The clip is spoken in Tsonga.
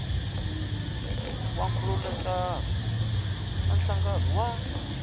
wa nkhulukelano na nhlangano wa